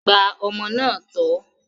Gba ọmọ náà tọ́!